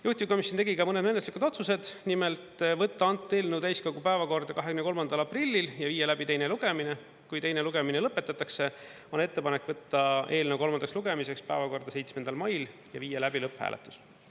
Juhtivkomisjon tegi ka mõned menetluslikud otsused, nimelt võtta eelnõu täiskogu päevakorda 23. aprillil ja viia läbi teine lugemine ja kui teine lugemine lõpetatakse, on ettepanek võtta eelnõu kolmandaks lugemiseks päevakorda 7. mail ja viia läbi lõpphääletus.